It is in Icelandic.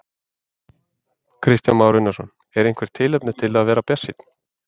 Kristján Már Unnarsson: Er eitthvert tilefni til að vera bjartsýnn?